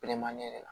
ne yɛrɛ la